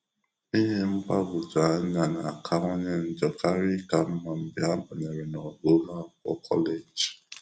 Ihe mgbagwoju anya a na-akawanye njọ karịa ịka mma mgbe ha banyere n'ogo ụlọ akwụkwọ kọleji.